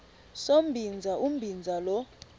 sombinza umbinza lo